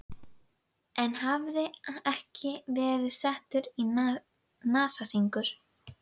Enn hafði ekki verið settur í það nasahringur.